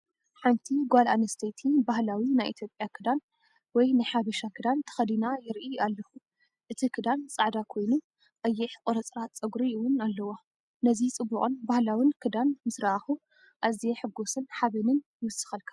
ሓንቲ ጓል ኣንስተይቲ ባህላዊ ናይ ኢትዮጵያ ክዳን ወይ ናይ ሓበሻ ክዳን ተኸዲና ይርኢ ኣለኹ። እቲ ክዳን ጻዕዳ ኮይኑ ቀይሕ ቁርጽራጽ ጸጉሪ እውን ኣለዋ። ነዚ ጽቡቕን ባህላውን ክዳን ምስ ረኣኹ ኣዝየ ሕጉስን ሓበንን ይውሰኸልካ።